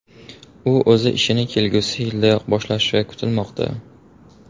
U o‘z ishini kelgusi yildayoq boshlashi kutilmoqda.